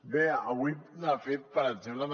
bé avui ha fet per exemple